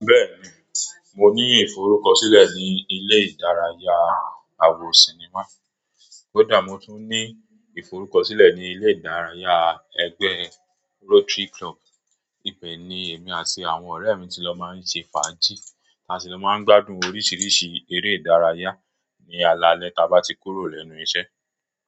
Bẹ́ẹ̀ni, mo ní ìforúkọ̀sílẹ̀ ní ilé ìdárayá àwo sinimá, kó dà mó tún ní ìforúkọ̀sílẹ̀ ní ilé ìdárayá ẹgbẹ́ Rotary Club. Ibẹ̀ ni èmi àti àwọn ọ̀rẹ́ mi ti lọ máa ń ṣe fàájì, táa sì lọ máa ń gbádùn oríṣiríṣi eré ìdárayá ní alalẹ́ táa bá ti kúrò lẹ́nu iṣẹ́.